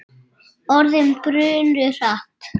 Orðin brunnu hratt.